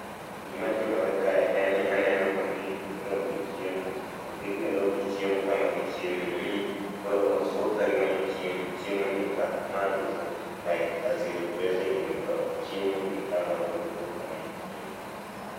Gimatimore kae en ni aneno ka omi rombe chiemo oketne rombe chiemo kama gichieme mi koro okgiwuoth ka gimanyo chiemo chiemo ni ka ma is like a zero grazing method chiemo ni ka ma rombe okwuoth ka gimanyo chiemo